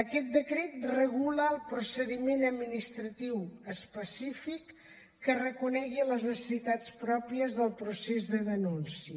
aquest decret regula el procediment administratiu específic que reconegui les necessitats pròpies del procés de denúncia